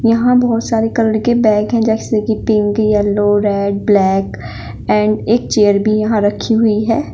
यहां बहुत सारे कलर के बैग हैं जैसे कि pink yellow red black and एक चेयर भी यहां रखी हुई है।